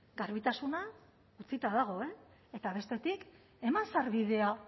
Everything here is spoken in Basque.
garbitasuna utzita dago eta bestetik eman sarbidea